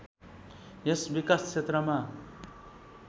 यस विकास क्षेत्रमा